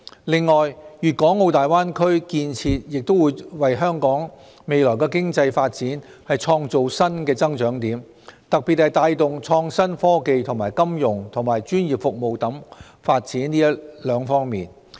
另外，粵港澳大灣區建設亦會為香港未來經濟發展創造新的增長點，特別是帶動創新科技及金融和專業服務發展這兩方面。